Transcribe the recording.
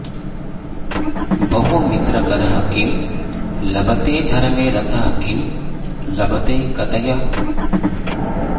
बहुमित्रकरः किं लभते धर्मे रतः किं लभते कथय